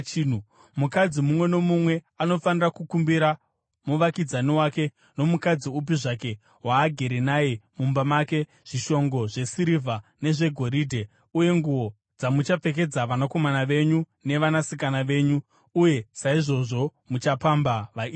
Mukadzi mumwe nomumwe anofanira kukumbira muvakidzani wake nomukadzi upi zvake waagere naye mumba make, zvishongo zvesirivha nezvegoridhe uye nguo dzamuchapfekedza vanakomana venyu nevanasikana venyu. Uye saizvozvo muchapamba vaIjipita.”